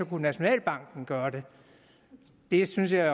kunne nationalbanken gøre det det synes jeg